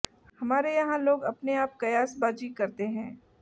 हमारे यहां लोग अपने आप कयासबाजी करते हैं